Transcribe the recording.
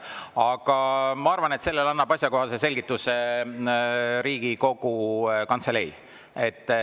Aga ma arvan, et selle kohta annab asjakohase selgituse Riigikogu Kantselei.